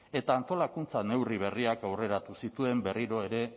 eta antolakuntza neurri berriak aurreratu zituen berriro ere